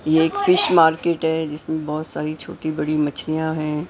ये एक fish market है जिसमें बहोत सारी छोटी बड़ी मछलियां हैं।